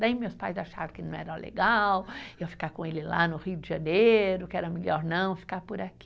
Daí meus pais acharam que não era legal eu ficar com ele lá no Rio de Janeiro, que era melhor não, ficar por aqui.